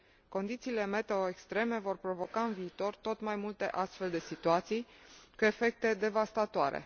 Condițiile meteo extreme vor provoca în viitor tot mai multe astfel de situații cu efecte devastatoare.